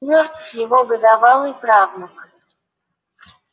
мёртв его годовалый правнук